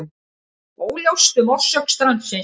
Óljóst um orsök strandsins